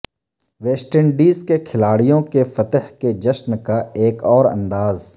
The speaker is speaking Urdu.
ویسٹ انڈیز کے کھلاڑیوں کے فتح کے جشن کا ایک اور انداز